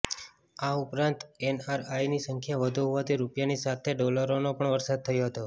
આ ઉપરાંત એનઆરઆઈની સંખ્યા વધુ હોવાથી રૂપિયાની સાથે ડોલરોનો પણ વરસાદ થયો હતો